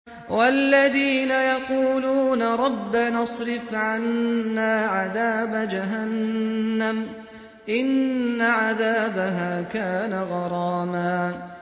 وَالَّذِينَ يَقُولُونَ رَبَّنَا اصْرِفْ عَنَّا عَذَابَ جَهَنَّمَ ۖ إِنَّ عَذَابَهَا كَانَ غَرَامًا